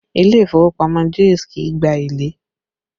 Ilé ìfowópamọ́ Jaiz kì í gba èlé